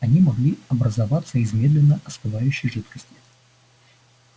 они могли образоваться из медленно остывающей жидкости